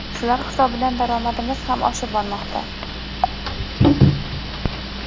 Shular hisobidan daromadimiz ham oshib bormoqda.